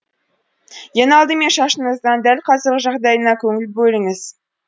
ең алдымен шашыңыздың дәл қазіргі жағдайына көңіл бөліңіз